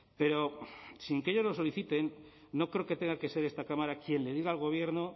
pero sin que ellos lo soliciten no creo que tenga que ser esta cámara quien le diga al gobierno